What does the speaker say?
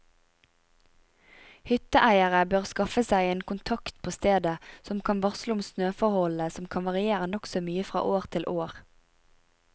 Hytteeiere bør skaffe seg en kontakt på stedet som kan varsle om snøforholdene som kan variere nokså mye fra år til år.